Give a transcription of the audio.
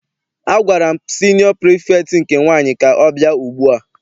Agwara m siniọ pirifektị nke nwaanyị ka ọ bịa ugbua!